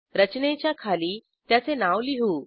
रचनेच्या खाली त्याचे नाव लिहू